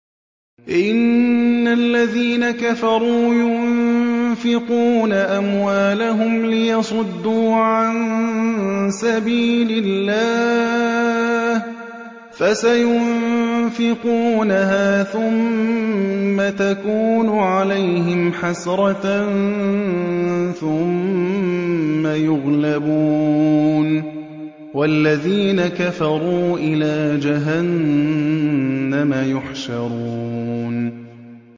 إِنَّ الَّذِينَ كَفَرُوا يُنفِقُونَ أَمْوَالَهُمْ لِيَصُدُّوا عَن سَبِيلِ اللَّهِ ۚ فَسَيُنفِقُونَهَا ثُمَّ تَكُونُ عَلَيْهِمْ حَسْرَةً ثُمَّ يُغْلَبُونَ ۗ وَالَّذِينَ كَفَرُوا إِلَىٰ جَهَنَّمَ يُحْشَرُونَ